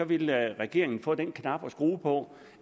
ville regeringen få den knap at skrue på